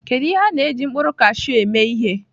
Kedu ihe a na-eji mkpụrụ kashụ eme ihe?